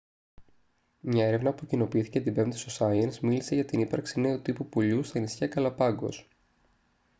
μια έρευνα που κοινοποιήθηκε την πέμπτη στο science μίλησε για την ύπαρξη νέου τύπου πουλιού στα νησιά γκαλαπάγκος